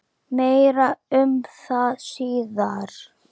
Meira um það síðar.